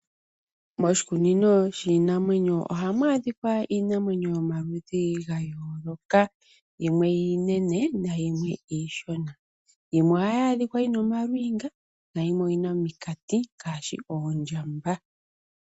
Moshikunino shiinamwenyo ohamu adhika iinamwenyo yomaludhi gayooloka, yimwe iinene nayimwe iishona. Yimwe ohayi adhika yina omalwiinga nayimwe oyina ominkati ngaashi oondjamba.